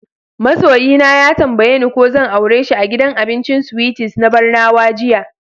Ma soyi na ya tambaye ni ko zan aure shi a gidan abincin Sweeties na Barnawa jiya.